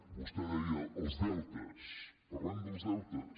vostè deia els deutes parlem dels deutes